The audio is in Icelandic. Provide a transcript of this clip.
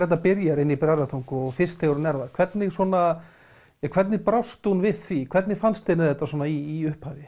þetta byrjar inni í Bræðratungu og fyrst þegar hún er þar hvernig svona ja hvernig brást hún við því hvernig fannst henni þetta svona í upphafi